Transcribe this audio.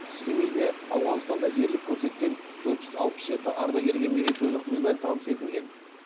семейде ауғанстанда ерлік көрсеткен төрт жүз алпыс жеті ардагерге мерейтойлық медаль табыс етілген